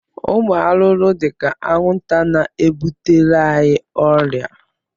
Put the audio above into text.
Ụmụ arụrụ dị ka anwụnta na-ebutere anyị ọrịa